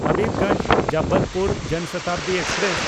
ᱦᱟᱵᱤᱵᱽᱜᱚᱧᱡᱽ–ᱡᱚᱵᱚᱞᱯᱩᱨ ᱡᱚᱱ ᱥᱚᱛᱟᱵᱫᱤ ᱮᱠᱥᱯᱨᱮᱥ